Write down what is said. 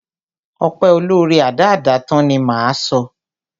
Ọpẹ́ olóóre, adáádátán ni, ni máa sọ.